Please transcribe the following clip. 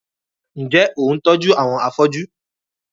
Ǹjẹ́, ò ń tójú àwọn afóju?